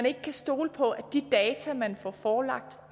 ikke kan stole på at de data man får forelagt